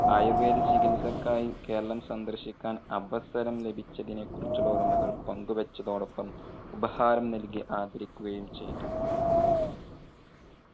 ആയുർവേദ ചികിത്സക്കായി കേരളം സന്ദർശിക്കാൻ അവസരം ലഭിച്ചതിനെ കുറിച്ചുള്ള ഓർമ്മകൾ പങ്കു വെച്ചതോടൊപ്പം ഉപഹാരം നൽകി ആദരിക്കുകയും ചെയ്തു.